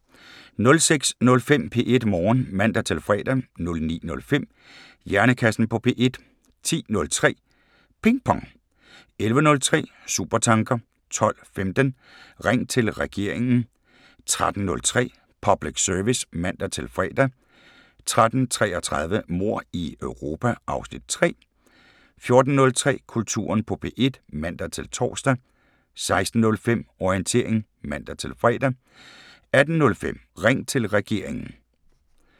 06:05: P1 Morgen (man-fre) 09:05: Hjernekassen på P1 10:03: Ping Pong 11:03: Supertanker 12:15: Ring til Regeringen 13:03: Public Service (man-fre) 13:33: Mord i Europa (Afs. 3) 14:03: Kulturen på P1 (man-tor) 16:05: Orientering (man-fre) 18:05: Ring til Regeringen